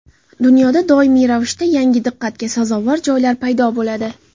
Dunyoda doimiy ravishda yangi diqqatga sazovor joylar paydo bo‘ladi.